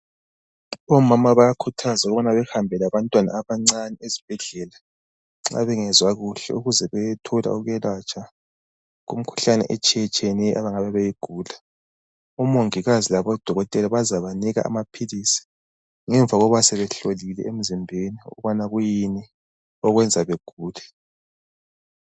Omama bayakhuthazwa ukubana bahambe labantwana abancane esibhedlela nxa bengezwa kuhle ukuze beyethola ukwelatshwa kumikhuhlane etshiye tshiyeneyo abangabe beyigula omongikazi labodokotela bazaba nika amaphilisi ngemva kokuba sebehlolile emzimbeni ukubana yini okwenza begule.